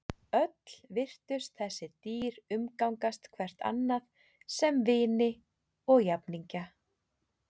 Öll virtust þessi dýr umgangast hvert annað sem vini og jafningja.